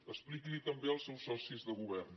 expliqui’ls ho també als seus socis de govern